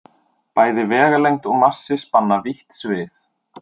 Bæði vegalengd og massi spanna vítt svið.